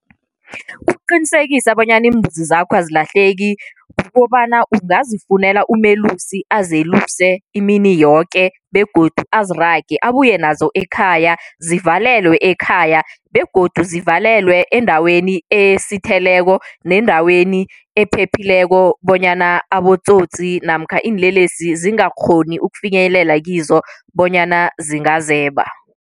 Ukuqinisekisa bonyana iimbuzi zakho azilahleki, kukobana ungazifunela umelusi azeluse imini yoke begodu azirage abuye nazo ekhaya zivalelwe ekhaya. Begodu zivalelwe endaweni esitheleko nendaweni ephephileko, bonyana abotsotsi namkha iinlelesi zingakghoni ukufinyelela kizo bonyana zingazeba.